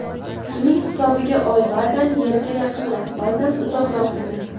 Buning hisobiga Oy ba’zan Yerga yaqinroq, ba’zan uzoqroq bo‘ladi.